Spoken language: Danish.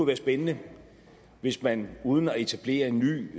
være spændende hvis man uden at etablere en ny